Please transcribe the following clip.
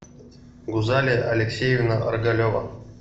гузалия алексеевна оргалева